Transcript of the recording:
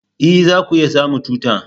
E! za ku iya samun tuta.